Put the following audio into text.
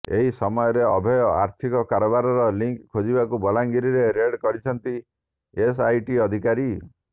ଏହି ସମୟରେ ଅଭୟଙ୍କ ଆର୍ଥିକ କାରବାରର ଲିଙ୍କ୍ ଖୋଜିବାକୁ ବଲାଙ୍ଗିରରେ ରେଡ୍ କରିଛନ୍ତି ଏସଆଇଟି ଅଧିକାରୀ